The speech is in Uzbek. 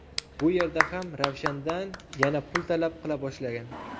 Bu yerda ham Ravshandan yana pul talab qila boshlagan.